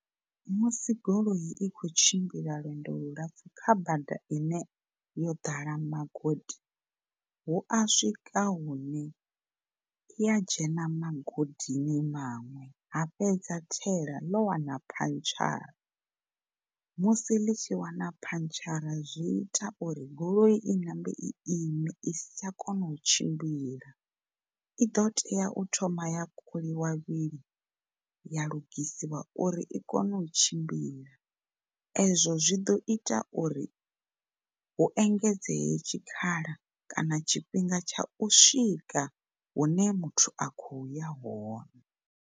Musi goloi i kho tshimbila lwendo lulapfu kha bada ine yo ḓala magodi hu a swika hune i ya dzhena magodini maṅwe ha fhedza thaela ḽo wana phantshara musi ḽitshi wana phantshara zwi ita uri goloi i ṋambe i ime i si tsha kona u tshimbila, i ḓo tea u thoma ya ṱhukhuliwa vhili ya lugisiwa uri i kone u tshimbila. Ezwo zwi ḓo ita uri hu engedzeye tshikhala kana tshifhinga tsha u swika hune muthu a khoya hone.